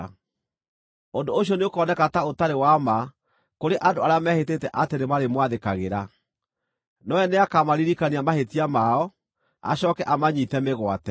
Ũndũ ũcio nĩũkoneka ta ũtarĩ wa ma kũrĩ andũ arĩa mehĩtĩte atĩ nĩmarĩmwathĩkagĩra, nowe nĩakamaririkania mahĩtia mao, acooke amanyiite mĩgwate.